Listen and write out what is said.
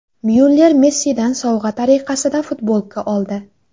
Myuller Messidan sovg‘a tariqasida futbolka oldi.